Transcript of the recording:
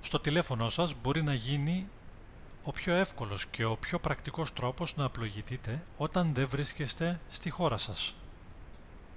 στο τηλέφωνό σας μπορεί να γίνει ο πιο εύκολος και ο πιο πρακτικός τρόπος να πλοηγηθείτε όταν δεν βρίσκεστε στη χώρα σας